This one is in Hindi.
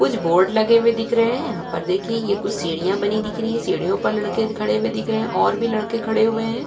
कुछ बोर्ड लगे हुए दिख रहे हैं। यहाँ पर देखिए ये कुछ सीढ़ियां बनी दिख रही हैं। सीढ़ियों पर लड़के खड़े हुए दिख रहे हैं और भी लड़के खड़े हुए हैं।